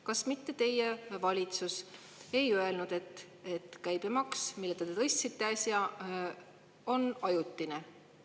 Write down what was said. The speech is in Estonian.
Kas mitte teie valitsus ei öelnud, et käibemaksu tõus, mille te äsja, on ajutine?